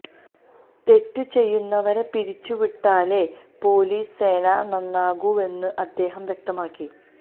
തെറ്റു ചെയ്യുന്നവരെ പിരിച്ചു വിട്ടാലേ പൊലീസ് സേന നന്നാകൂവെന്നും അദ്ദേഹം വ്യക്തമാക്കി